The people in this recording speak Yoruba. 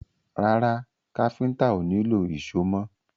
Rárá, káfíntà ó nílò ìṣó mọ́.